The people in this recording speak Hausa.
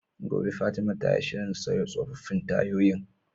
Gobe ​​Fatima tayi shirin sauya tsofaffin tayoyin